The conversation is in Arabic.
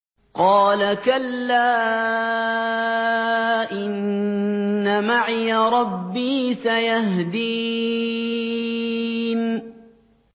قَالَ كَلَّا ۖ إِنَّ مَعِيَ رَبِّي سَيَهْدِينِ